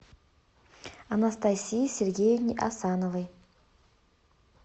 анастасии сергеевне асановой